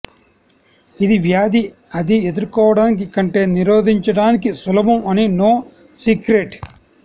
ఇది వ్యాధి అది ఎదుర్కోవటానికి కంటే నిరోధించడానికి సులభం అని నో సీక్రెట్